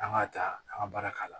An ka ta an ka baara k'a la